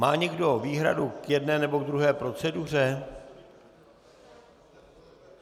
Má někdo výhradu k jedné nebo ke druhé proceduře?